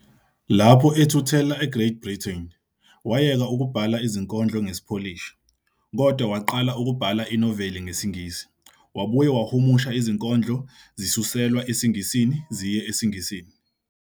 Lapho ethuthela eGreat Britain, wayeka ukubhala izinkondlo ngesiPolish, kodwa waqala ukubhala inoveli ngesiNgisi. Wabuye wahumusha izinkondlo zisuselwa esiNgisini ziye esiNgisini.